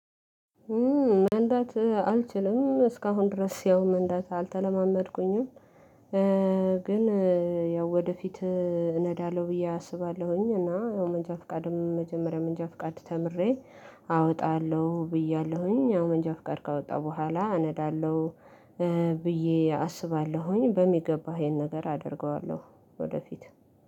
መንዳት አልችልም። እስካሁን ድረስ ያው መንዳት አልተለማመድኩኝም። ግን ያው ወደፊት እነዳለሁ ብዬ አስባለሁኝ። እና ያው መንጃ ፍቃድም መጀመሪያ መንጃ ፍቃድ ተምሬ አወጣለሁ ብያለሁኝ። ያው መንጃ ፍቃድ ካወጣሁ በኋላ አነዳለሁ ብዬ አስባለሁኝ። በሚገባ ይሄን ነገር አደርገዋለሁ ወደፊት።